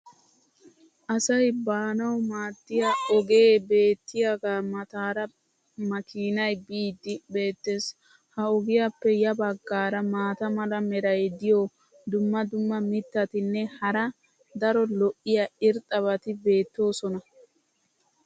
asay baanawu maadiya ogee beetiyaagaa mataara makiinay biidi beetees. ha ogiyaappe ya bagaara maata mala meray diyo dumma dumma mittatinne hara daro lo'iya irxxabati beettoosona.